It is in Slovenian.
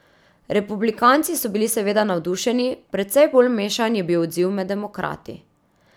Republikanci so bili seveda navdušeni, precej bolj mešan je bil odziv med demokrati.